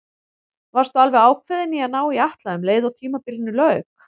Varstu alveg ákveðinn í að ná í Atla um leið og tímabilinu lauk?